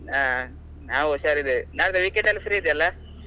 ಹ ನಾವು ಹುಷಾರಿದ್ದೇವೆ ನಾಡ್ದು weekend ಅಲ್ಲಿ free ಇದ್ದೀಯಲಾ?